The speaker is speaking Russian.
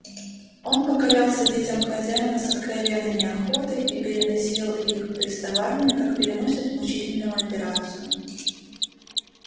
он покорялся детям хозяина с откровенной неохотой и переносил их приставания как переносят мучительную операцию